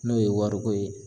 N'o ye wari ko ye